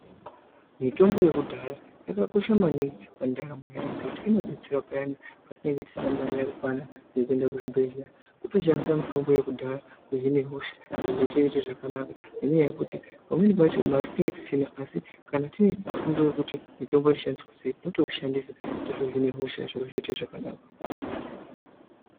Mitombo yekudhaya yakakosha maningi pandaramo yeanhu ngekuti inodetsera payani patinenge tisina mari yakakwana yekuende kuzvibhedhleya kutoshandise mitombo yekudhaya kuhine hosha zviro zvotoite zvakanaka ngenyaya yekuti pamweni pacho mari tinenge tisina asi kana tine fundo yekuti mitombo inoshandiswa sei totoushandisa totohine hosha zviro zvoite zvakanaka.